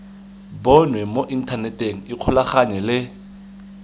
bonwe mo inthaneteng ikgolaganye le